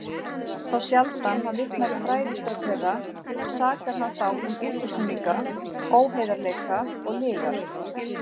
Þá sjaldan hann vitnar í fræðistörf þeirra, sakar hann þá um útúrsnúninga, óheiðarleika og lygar.